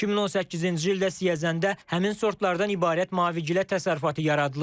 2018-ci ildə Siyəzəndə həmin sortlardan ibarət mavigilə təsərrüfatı yaradılıb.